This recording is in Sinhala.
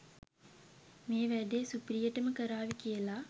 මේ වැඩේ සුපිරියටම කරාවි කියල